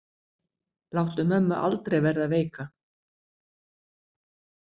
Láttu mömmu aldrei verða veika.